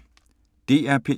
DR P1